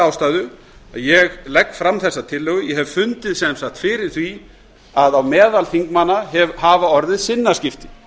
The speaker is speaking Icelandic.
ástæðu að ég legg fram þessa tillögu ég hef sem sagt fundið fyrir því að á meðal þinganna hafa orðið sinnaskipti